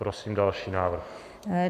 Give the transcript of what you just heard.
Prosím další návrh.